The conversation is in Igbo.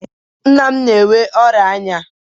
Nna m na-enwe ọria anya